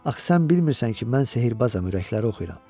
Axı sən bilmirsən ki, mən sehirbazam, ürəkləri oxuyuram.